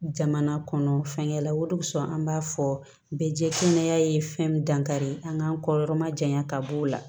Jamana kɔnɔ fɛngɛlaw de sɔn an b'a fɔ bɛɛ jɛsina ye fɛn dankari an kan kɔyɔrɔma janya ka b'o la